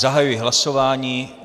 Zahajuji hlasování.